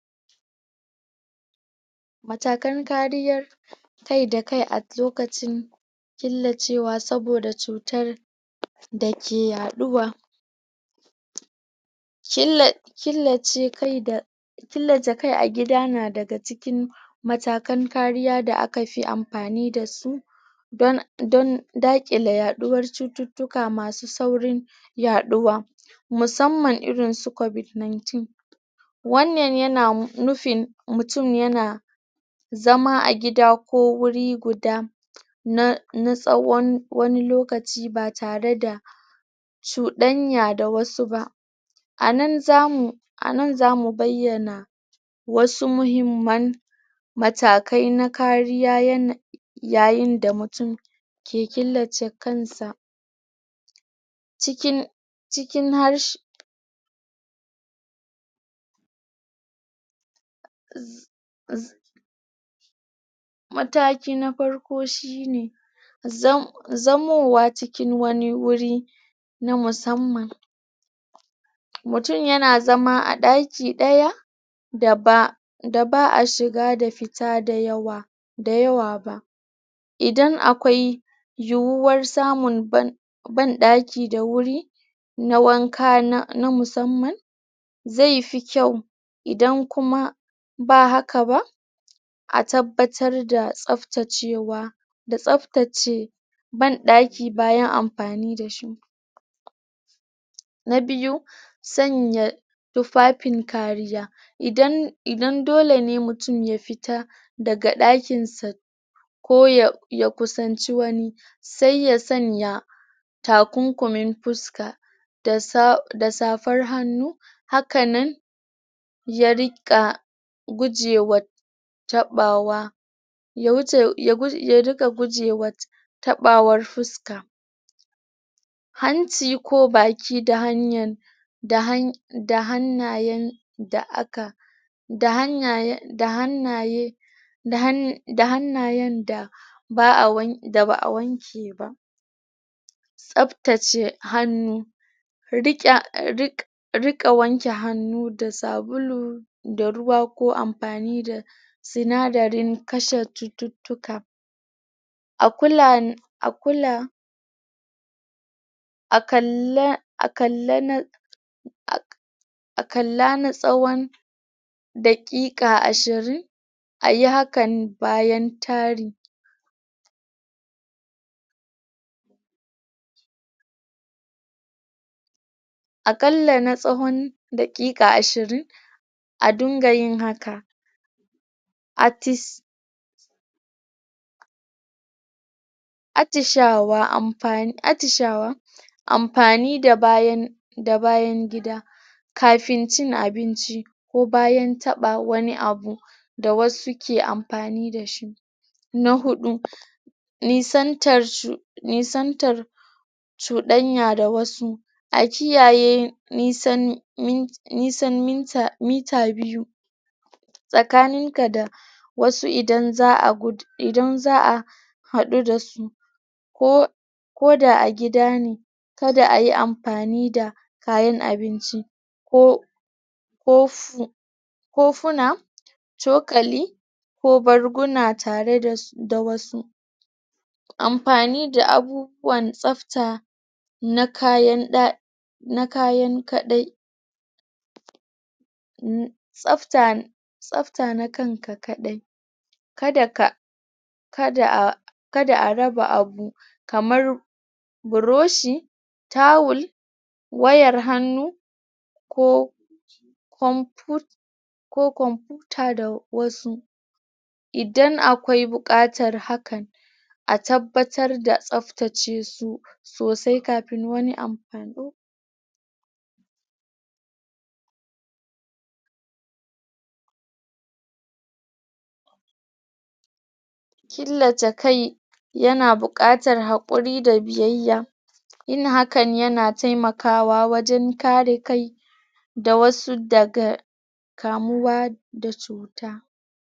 Mattakan kariyar kai da kai a lokacin tillacewa saboda cutar da ke yaɗuwa killace kai a gida na daga cikin matakan kariya da aka fi ampani da su don daƙilla yaɗuwar cututtuka masu saurin yaɗuwa musamman irin su covid nineteen wannan yana nufin mutum yana zama a gida ko wuri guda na tsawon wani lokaci ba tare da cuɗanya da wasu ba a nan zamu...a nan zamu bayyana wasu muhimman... matakai na kariya yayin da mutum ke killace kansa um mataki na parko shi ne, zamowa cikin wani wuri na musamman mutum yana zama a ɗaki ɗaya da ba'a shiga da fita dayawa...dayawa ba idan akwai yuwar samun ban ɗaki da wuri na waka na musamman zai fi kyau, idan kuma ba haka ba a tabbatar da tsaptacewa, da tsaftace ban ɗaki bayan amfani da shi na biyu, sanya tuffafin kariya, idan dole ne mutum ya fita daga ɗakin sa ko ya kusanci wani, sai ya sanya takunkumin puska da safar hannu, hakan nan ya riƙa gujewa taɓawa um taɓawar fuska hanci ko baki da hannayen da aka da hannayen da ba'a wanke ba saptace hannu riƙa wanke hannu da sabulu da ruwa ko ampani da sinadirin kashe cututtuka a kula a kalla a kalla na tsawon daƙiƙa ashirin, a yi hakan bayan tari a ƙalla na tsawon daƙiƙa ashirin, a dinga yin haka attishawa, ampani da bayan gida kafin cin abinci ko bayan taɓa wani abu da wasu ke ampani da shi na huɗu nisantar chuɗanya da wasu, a kiyaye nisan mita biyu tsakanin ka da wasu idan za'a haɗu da su ko da a gida ne, kada a yi ampani da kayan abinci um kofuna, cokali ko barguna tare da wasu ampani da abubuwan tsapta na kayan, na kayan kaɗai tsafta na kan ka kaɗai kada ka, kada a raba abu kamar broshi, tawul, wayar hannu ko komputa da wasu idan akwai buƙatan hakan a tabbatar da tsaftace su sosai kapin wani ampani killace kai, yana buƙatar haƙuri da biyayya yin hakan yana taimakawa wajen kare kai da wasu daga kamuwa da cuta.